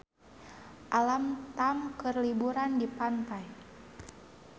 Alam Tam keur liburan di pantai